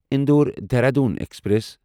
Indore Dehradun express